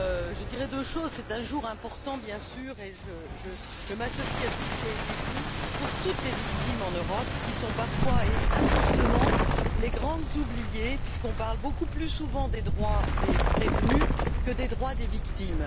Je dirais deux choses c'est un jour important, bien sûr et je m'associe à tout ce qui a été dit pour toutes les victimes en Europe qui sont parfois, et injustement, les grandes oubliées, puisqu'on parle beaucoup plus souvent des droits des prévenus que des droits des victimes.